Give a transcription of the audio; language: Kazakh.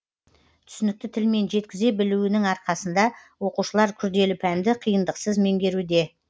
түсінікті тілмен жеткізе білуінің арқасында оқушылар күрделі пәнді қиындықсыз меңгеруде